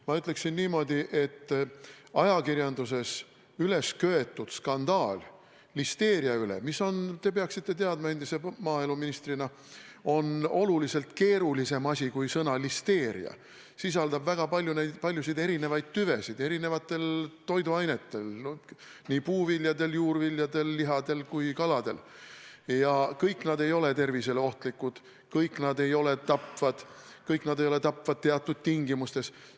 Ma ütleksin niimoodi, et ajakirjanduses ülesköetud skandaal listeeria üle, mis on – te peaksite teadma endise maaeluministrina – oluliselt keerulisem asi kui sõna "listeeria", sisaldab väga paljusid erinevaid tüvesid eri toiduainetel, nii puuviljadel, juurviljadel, lihadel kui ka kaladel, kusjuures kõik nad ei ole tervisele ohtlikud, kõik nad ei ole tapvad, kõik nad ei ole tapvad teatud tingimustes.